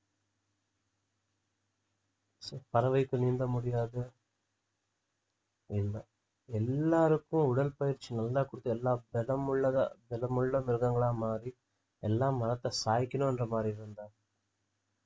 பறவைக்கு நீந்த முடியாது எல்லா~ எல்லாருக்கும் உடற்பயிற்சி நல்லா குடுத்து எல்லா திடமுள்ளதா திடமுள்ள மிருகங்களா மாறி எல்லாம் மரத்தை சாய்க்கணுன்ற மாதிரி இருந்தா